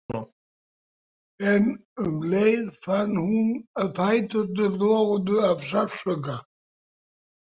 En um leið fann hún að fæturnir loguðu af sársauka.